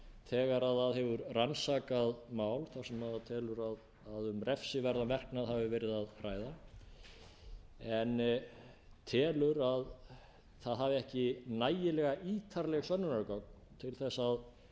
þegar það hefur rannsakað mál þar sem það telur að um refsiverðan verknað hafi verið að ræða en telur að það hafi ekki nægilega ítarleg sönnunargögn til að